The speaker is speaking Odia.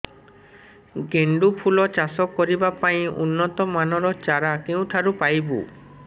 ଗେଣ୍ଡୁ ଫୁଲ ଚାଷ କରିବା ପାଇଁ ଉନ୍ନତ ମାନର ଚାରା କେଉଁଠାରୁ ପାଇବୁ